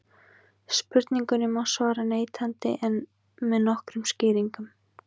Spurningunni má svara neitandi en með nokkrum skýringum.